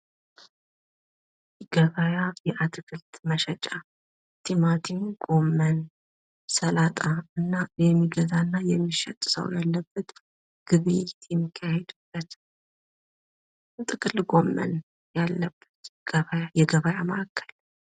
ገበያ የአትክልት መሸጫ አትክልት ጎመን ሰላጣ እና የሚገዛና የሚሸጥ ሰው ያለበት ግብይት የሚካሄድበት ጥቅል ጎመን ያለበት የገበያ ማዕከል።